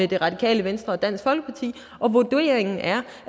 det radikale venstre og dansk folkeparti og vurderingen er